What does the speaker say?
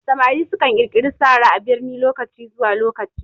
Samari su kan ƙirƙiri sara a birni lokaci zuwa lokaci